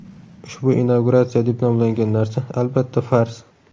Ushbu inauguratsiya deb nomlangan narsa, albatta, fars.